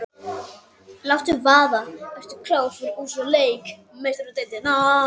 Láttu vaða- Ertu klár fyrir úrslitaleik Meistaradeildarinnar?